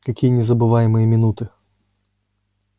какие незабываемые минуты